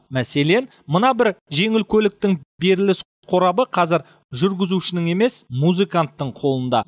мәселен мына бір жеңіл көліктің беріліс қорабы қазір жүргізушінің емес музыканттың қолында